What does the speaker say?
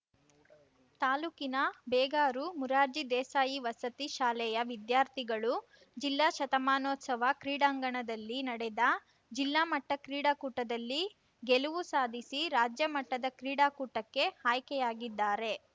ತಾಲೂಕಿನ ಬೇಗಾರು ಮೊರಾರ್ಜಿ ದೇಸಾಯಿ ವಸತಿ ಶಾಲೆಯ ವಿದ್ಯಾರ್ಥಿಗಳು ಜಿಲ್ಲಾ ಶತಮಾನೋತ್ಸವ ಕ್ರೀಡಾಂಗಣದಲ್ಲಿ ನಡೆದ ಜಿಲ್ಲಾಮಟ್ಟಕ್ರೀಡಾಕೂಟದಲ್ಲಿ ಗೆಲವು ಸಾಧಿಸಿ ರಾಜ್ಯಮಟ್ಟದ ಕ್ರೀಡಾಕೂಟಕ್ಕೆ ಆಯ್ಕೆಯಾಗಿದ್ದಾರೆ